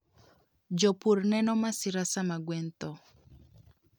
Jopur neno masira sama gwen tho.